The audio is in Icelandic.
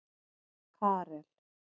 Karel